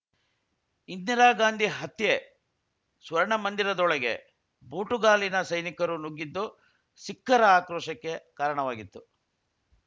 ಇಂದಿರಾ ಗಾಂಧಿ ಹತ್ಯೆ ಸ್ವರ್ಣಮಂದಿರದೊಳಗೆ ಬೂಟುಗಾಲಿನ ಸೈನಿಕರು ನುಗ್ಗಿದ್ದು ಸಿಖ್ಖರ ಆಕ್ರೋಶಕ್ಕೆ ಕಾರಣವಾಗಿತ್ತು